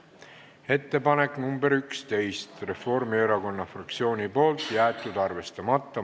Ettepanek nr 11, esitanud Reformierakonna fraktsioon, jäetud arvestamata.